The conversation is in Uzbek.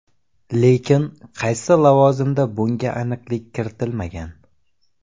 Lekin qaysi lavozimda bunga aniqlik kiritilmagan.